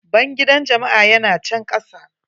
Bangidan jama'a ya na can kasa.